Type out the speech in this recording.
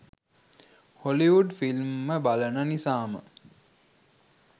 Hollywood film ම බලන නිසාම